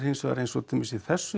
til dæmis í þessu